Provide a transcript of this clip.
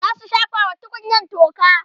zasu shafa wa tukunyan toka